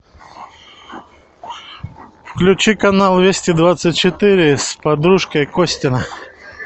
включи канал вести двадцать четыре с подружкой костина